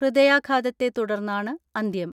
ഹൃദയാഘാതത്തെ തുടർന്നാണ് അന്ത്യം.